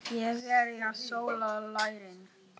Er verið að sóla lærin?